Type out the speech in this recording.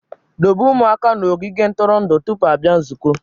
Dobe ụmụaka na ogige ntụrụndụ tupu ị bịa nzukọ